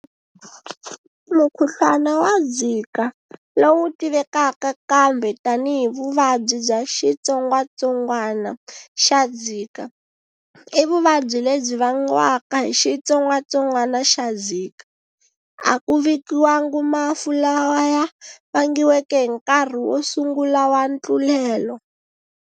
Mukhuhlwana wa Zika, lowu tivekaka kambe tanihi vuvabyi bya xitsongwatsongwana xa Zika i vuvabyi lebyi vangiwaka hi xitsongwatsongwana xa Zika. A ku vikiwangi mafu lawa ya vangiweke hi nkarhi wo sungula wa ntlulelo.